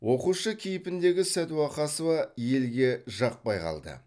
оқушы кейпіндегі сәдуақасова елге жақпай қалды